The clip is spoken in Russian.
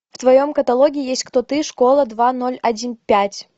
в твоем каталоге есть кто ты школа два ноль один пять